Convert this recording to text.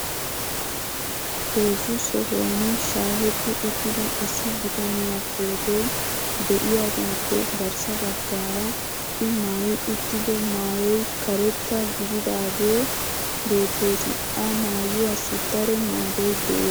heezzu sohuwan shaahetti uttida issi bitaniyaa pootoy diyaagaappe garssa bagaara i maayi uttido maayoy karettaa gidaagee beetees. ha maayuwaassi daro maadoy de'ees.